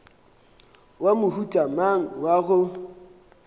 wa mohuta mang wa go